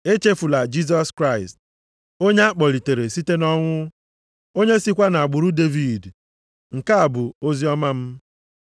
Echefula Jisọs Kraịst, onye a kpọlitere site nʼọnwụ, onye sikwa nʼagbụrụ Devid, nke a bụ oziọma m.